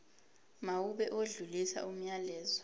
mawube odlulisa umyalezo